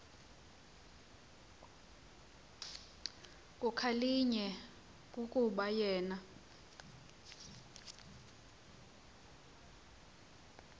kukhalinywe kukuba yena